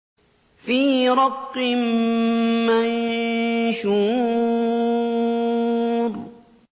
فِي رَقٍّ مَّنشُورٍ